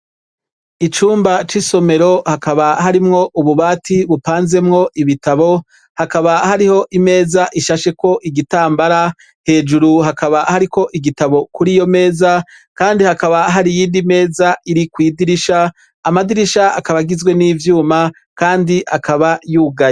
Icumba cisomero Hakaba harimwo ububati bupanzemwo ibitabo Hakaba harimwo imeza ishasheko igitambara hejuru Hakaba hariko igitabo kuriyomeza Kandi hakaba hari iyindi meza irikwidirisha amadirisha akaba agizwe nivyuma akaba yugaye.